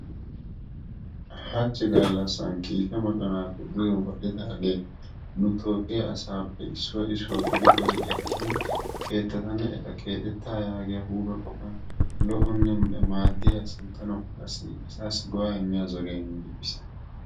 Hachchi gallassan kiike moconaappe duge wodhdhidaagee nu toophphiya asaappe issuwa issuwa qori qori ekkidi keettatanne eta keexettaa yaagiyaa huuphe yohuwan lo''onne maaddiya sinttanawukka asassi go'a imiya zoriya immidi bis.